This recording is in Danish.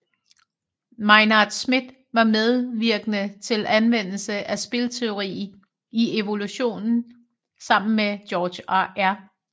Maynard Smith var mevirkende til anvendelse af spilteori i evolution sammen med George R